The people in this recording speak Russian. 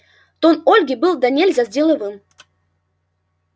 тон ольги был донельзя деловым